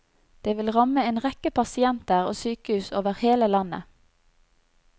Det vil ramme en rekke pasienter og sykehus over hele landet.